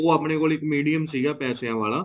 ਉਹ ਆਪਨੇ ਕੋਲ ਇੱਕ medium ਸੀਗਾ ਪੈਸੇ ਵਾਲਾ